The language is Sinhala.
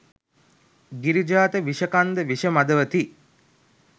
ගිරිජාත විෂ කන්ද විෂ මදවති